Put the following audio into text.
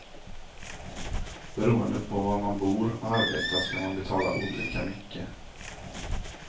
Beroende på var man bor och arbetar ska man betala olika mycket.